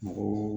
Mɔgɔw